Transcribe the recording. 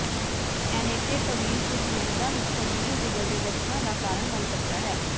ਏਨੇਟੇਕਵੀਰ ਕੁਝ ਮਰੀਜ਼ਾਂ ਵਿਚ ਗੰਭੀਰ ਜਿਗਰ ਦੇ ਲੱਛਣਾਂ ਦਾ ਕਾਰਨ ਬਣ ਸਕਦਾ ਹੈ